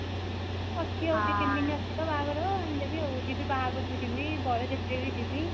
ଅଛି ଆଉ ଦୁଇ ତିନି ଦିନ ଅଛି ତ ବାହାଘର ଆଉ ଆଣି ଦେବି ଆଉ ଜିବି ବାହାଘର କୁ ଯିବି ବରଯାତ୍ରୀ ରେ ବି ଯିବି